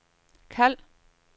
kald